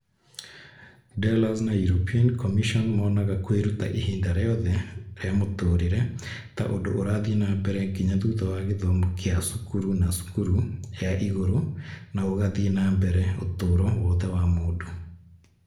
Delors na European Commission monaga kwĩruta ihinda rĩothe rĩa mũtũũrĩre ta ũndũ ũrathiĩ na mbere nginya thutha wa gĩthomo kĩa cukuru na cukuru ya igũrũ, na ũgathiĩ na mbere ũtũũro wothe wa mũndũ.